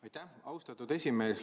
Aitäh, austatud esimees!